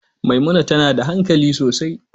Maimuna tana da hankali sosai.